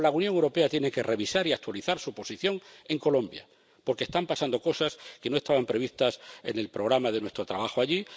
Pero la Unión Europea tiene que revisar y actualizar su posición en Colombia, porque están pasando cosas que no estaban previstas en el programa de nuestro trabajo allí.